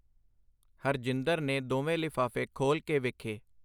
ਹਰਜਿੰਦਰ ਨੇ ਦੋਵੇਂ ਲਿਫ਼ਾਫ਼ੇ ਖੋਲ੍ਹ ਕੇ ਵੇਖੇ.